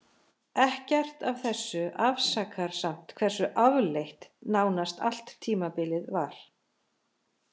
Ekkert af þessu afsakar samt hversu afleitt nánast allt tímabilið var.